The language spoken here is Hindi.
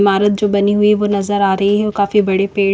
ईमारत जो बनी हुई है वो नजर आ रही है वो काफी बड़े पेड़--